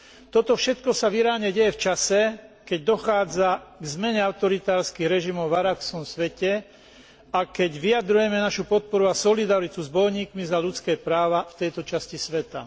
Toto všetko sa v Iráne deje v čase, keď dochádza k zmene autoritárskych režimov v arabskom svete a keď vyjadrujeme našu podporu a solidaritu s bojovníkmi za ľudské práva v tejto časti sveta.